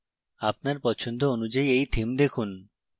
আপনার পছন্দ অনুযায়ী এই থিম দেখুন